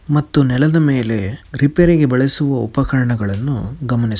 ಮತ್ತು ನೆಲದ ಮೇಲೆ ರಿಪೇರಿಗೆ ಬಳಸುವ ಉಪಕರಣಗಳನ್ನು ಗಮನಿಸ --